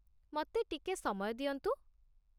ମତେ ଟିକେ ସମୟ ଦିଅନ୍ତୁ ।